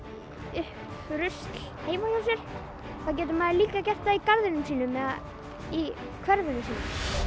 upp rusl heima hjá sér þá getur maður líka gert það í garðinum sínum eða í hverfinu sínu